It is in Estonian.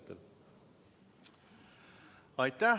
Aitäh!